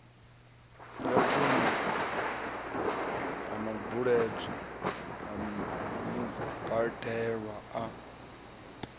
ya vhuṋe ya mubadelwa a